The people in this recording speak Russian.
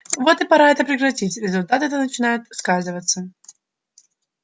вот и пора это прекратить результаты-то начинают сказываться